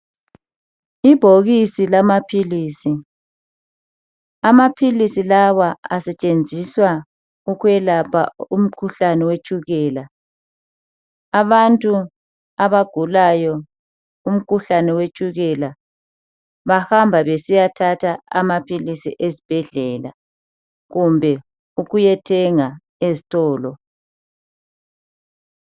Ibhokisi lamaphilisi, amaphilisi lawa asetshenziswa ukwelapha umkhuhlane wetshukela. Abantu abagulayo umkhuhlane wetshukela bahamba besiyathatha amaphilisi ezibhedlela kumbe ukuyathenga ezitolo.